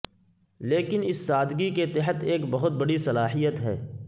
لیکن اس سادگی کے تحت ایک بہت بڑی صلاحیت ہے